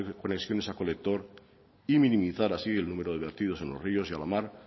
conexiones a colector y minimizar así el número de vertidos en los ríos y a la mar